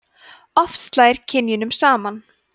oft slær kynjunum saman